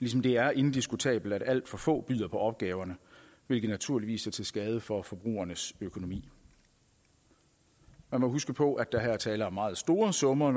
ligesom det er indiskutabelt at alt for få byder på opgaverne hvilket naturligvis er til skade for forbrugernes økonomi man må huske på at der her er tale om meget store summer